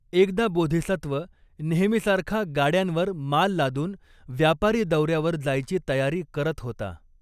एकदा बोधिसत्व नेहमीसारखा गाड्यांवर माल लादून व्यापारी दौर्यावर जायची तयारी करत होता.